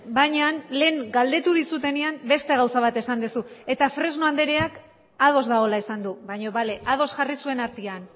baina lehen galdetu dizudanean beste gauza bat esan duzu eta fresno andreak ados dagoela esan du baina bale ados jarri zuen artean